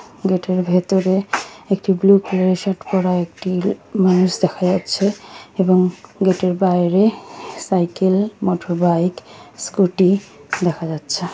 গেটের ভিতরে একটি ব্লু কালারের শার্ট পড়া একটি মানুষ দেখা যাচ্ছে এবং গেটের বাইরে সাইকেল মোটর বাইক স্ক্যুটি দেখা যাচ্ছে।